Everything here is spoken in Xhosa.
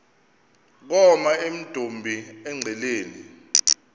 koma emdumbi engqeleni